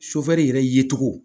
yɛrɛ ye cogo